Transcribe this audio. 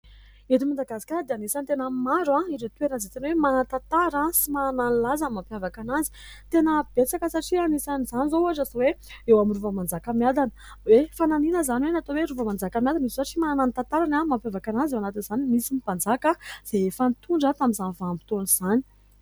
Eto Madagasikara dia anisany tena maro ireo toerana izay tena hoe manan-tantara sy manana ny lazany mampiavakana anazy. Tena betsaka satria anisan'izany izao ohatra hoe eo amin'ny Rova Manjakamiadana hoe fanahiniana izany hoe natao hoe Rova Manjakamiadana io satria manana ny tantarany mampiavakana azy. Eo anatin'izany misy ny mpanjaka izay efa nitondra tamin'izany vanim-potoana izany.